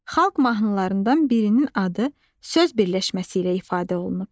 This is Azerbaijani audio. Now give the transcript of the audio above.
Xalq mahnılarından birinin adı söz birləşməsi ilə ifadə olunub.